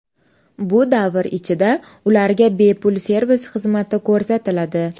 Bu davr ichida ularga bepul servis xizmati ko‘rsatiladi.